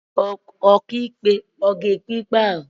Ọkàikpe ọ̀ ga-ekpe ikpe ahụ?